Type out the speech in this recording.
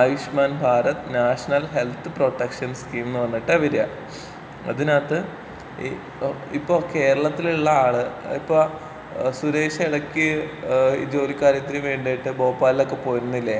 Ayushman Bharat national health protection scheme എന്ന് പറഞ്ഞിട്ടാ വരാ. അതിനകത്ത് ഈ ഇപ്പൊ കേരളത്തിലുള്ള ആള് അതിപ്പൊ ഏഹ് സുരേഷ് എടക്ക് ഏഹ് ഈ ജോലി കാര്യത്തിന് വേണ്ടീട്ട് ഭോപ്പാലിലൊക്കെ പോയിരുന്നില്ലേ?.